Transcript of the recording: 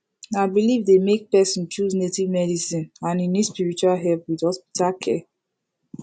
na belief dey make person choose native medicine and e need spiritual help with hospital care